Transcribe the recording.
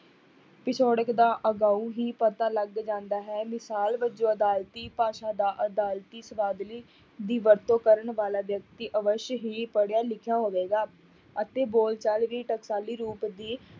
ਪਿਛੋੜਕ ਦਾ ਹੀ ਪਤਾ ਲੱਗ ਜਾਂਦਾ ਹੈ, ਮਿਸ਼ਾਲ ਵਜੋਂ ਅਦਾਲਤੀ ਭਾਸ਼ਾ ਦਾ ਅਦਾਲਤੀ ਸਬਦਾਵਲੀ ਦੀ ਵਰਤੋਂ ਕਰਨ ਵਾਲਾ ਵਿਅਕਤੀ ਅਵਸਯ ਹੀ ਪੜ੍ਹਿਆ ਲਿਖਿਆ ਹੋਵੇਗਾ, ਅਤੇ ਬੋਲਚਾਲ ਵੀ ਟਕਸ਼ਾਲੀ ਰੂਪ ਦੀ